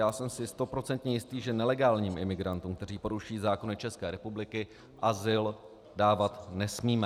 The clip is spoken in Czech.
Já jsem si stoprocentně jistý, že nelegálním imigrantům, kteří porušují zákony České republiky, azyl dávat nesmíme.